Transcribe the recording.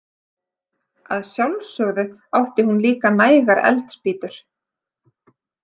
Að sjálfsögðu átti hún líka nægar eldspýtur.